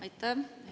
Aitäh!